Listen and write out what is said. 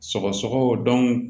Sɔgɔsɔgɔ